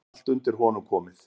Allt undir honum komið.